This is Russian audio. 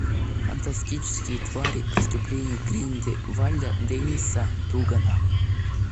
фантастические твари преступления грин де вальда дэнниса дугана